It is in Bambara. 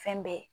Fɛn bɛɛ